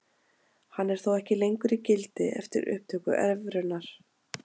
Hann er þó ekki lengur í gildi eftir upptöku evrunnar.